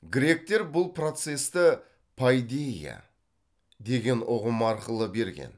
гректер бұл процесті пайдейя деген ұғым арқылы берген